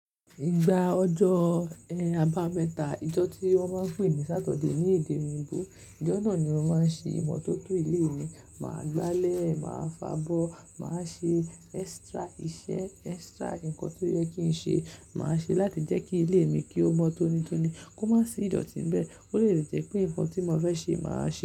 Ìgbà ọjọ́, ẹh, àbámẹ́ta, ijọ́ tí wọ́n máa ń pè ní Saturday ní èdè òyìnbó. Ìjọ́ náà ni mo máa ń ṣe ìmọ́tótó ilé mi. Máa gbálẹ̀, máa fabọ́, máa ṣe extra iṣẹ́, extra ǹkan tó yẹ kí n ṣe, màá ṣe láti jẹ́ kí ilé mi kí ó mọ tonítoní. Kó má sí ìdọ́tì níbẹ̀. Ó lè jẹ́ pé ǹkan tí mo fẹ́ ṣe màá ṣe.